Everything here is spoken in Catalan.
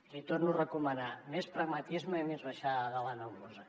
li torno a recomanar més pragmatisme i més baixar de la nebulosa